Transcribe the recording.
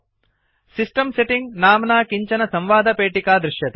system setting नाम्ना किञ्चन संवादपेटिका दृश्यते